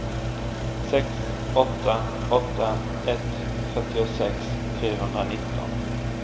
sex åtta åtta ett fyrtiosex trehundranitton